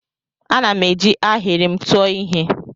Ana m eji ahịrị m tụọ ihe.